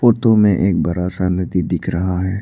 Photo में एक बड़ा सा नदी दिख रहा है।